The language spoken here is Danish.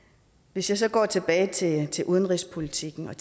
hvis jeg så går tilbage til udenrigspolitikken